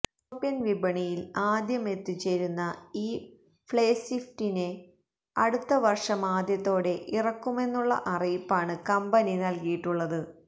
European വിപണിയിൽ ആദ്യമെത്തിച്ചേരുന്ന ഈ ഫേസ്ലിഫ്റ്റിനെ അടുത്ത വർഷമാദ്യത്തോടെ ഇറക്കുമെന്നുള്ള അറിയിപ്പാണ് കമ്പനി നൽകിയിട്ടുള്ളത്